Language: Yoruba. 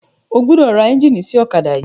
O gbọdọ̀ ra ẹ́ńjíìnì sí ọ̀kádà yìí.